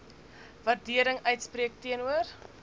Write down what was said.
waardering uitspreek teenoor